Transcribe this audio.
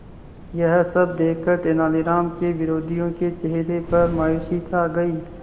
यह सब देखकर तेनालीराम के विरोधियों के चेहरे पर मायूसी छा गई